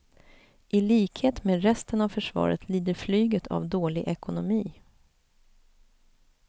I likhet med resten av försvaret lider flyget av dålig ekonomi.